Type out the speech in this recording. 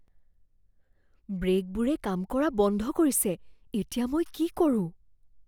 ব্ৰেকবোৰে কাম কৰা বন্ধ কৰিছে। এতিয়া, মই কি কৰোঁ?